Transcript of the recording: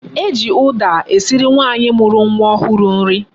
E ji uda esiri nwaanyi muru nwa ohuru nri